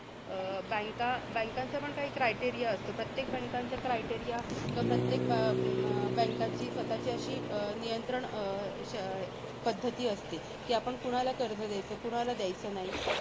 अं banks banks चा पण काही criteria असतो. प्रत्येक banks चा criteria किंवा प्रत्येक अं bank ची स्वतःची अशी नियंत्रण अं शै पद्धती असते, की आपण कुणाला कर्ज दयायचं? कुणाला दयायचं नाही?